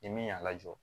Ni min y'a lajɔ